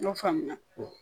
N y'o faamuya